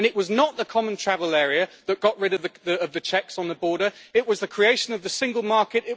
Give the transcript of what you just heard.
It was not the common travel area that got rid of the checks on the border it was the creation of the single market